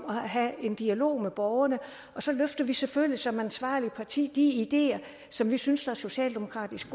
og have en dialog med borgerne og så løfter vi selvfølgelig som ansvarligt parti de ideer som vi synes socialdemokratisk